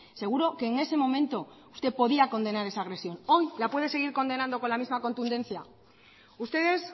seguro que en ese momento usted podía condenar esa agresión hoy la puede seguir condenando con la misma contundencia ustedes